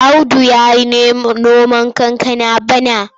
Audu ya yi noman kankana bana.